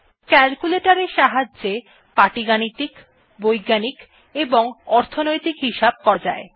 calculator এর সাহায্যে পাটীগাণিতিক বৈজ্ঞানিক বা অর্থনৈতিক হিসাব করা যায়